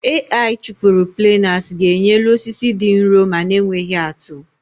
Ai chụpụrụ planers ga-enye elu osisi dị nrọ ma na-enweghi atụ